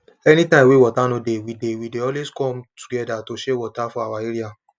any time wey water no dey we dey we dey always come together to share water for our area